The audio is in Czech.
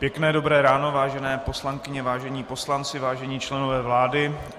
Pěkné dobré ráno, vážené poslankyně, vážení poslanci, vážení členové vlády.